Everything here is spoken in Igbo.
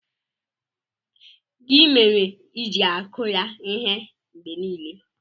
Gị mere ịji-akụ ya ihe mgbe niile?